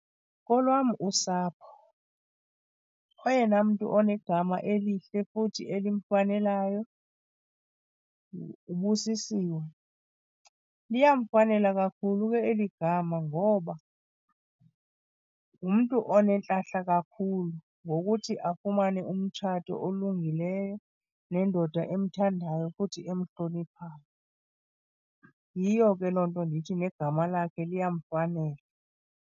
Kolwam usapho oyena mntu onegama elihle futhi elimfanelayo nguBusisiwe. Liyamfanela kakhulu ke eli gama ngoba ngumntu onentlahla kakhulu ngokuthi afumane umtshato olungileyo nendoda emthandayo futhi emhloniphayo. Yiyo ke loo nto ndithi negama lakhe liyamfanela.